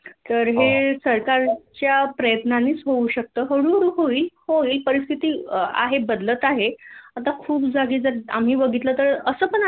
तर हे सरकारच्या प्रयत्नानीच होऊ शकत हळूहळू होईल होईल परिस्थिती आहे बदलत आहे आता खूप जागी जर आम्ही बघितल तर अस पण असत